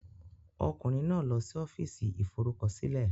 Ọkùnrin náà lọ sí Ọ́fíìsì Ìforúkọsílẹ̀.